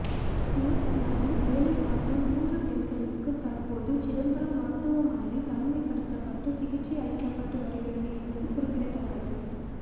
Phoenix நாளில் வேலை பார்த்த மூன்று பெண்களுக்கு தற்போது சிதம்பரம் மருத்துவமனையில் தனிமைப்படுத்தப்பட்டு சிகிச்சை அளிக்கப்பட்டு வருகிறது என்பது குறிப்பிடத்தக்கது